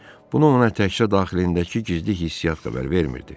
Bunu ona təkcə daxilindəki gizli hissi xəbər vermirdi.